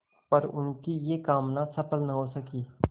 पर उनकी यह कामना सफल न हो सकी